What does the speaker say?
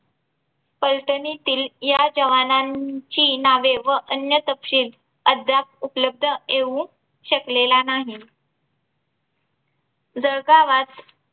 पलटणीतील या जवानांची नावे व अन्य तपशील अद्याप उपलब्ध येऊ शकलेला नाही. जळगावात